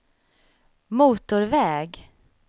motorväg